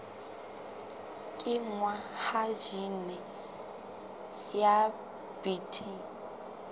kenngwa ha jine ya bt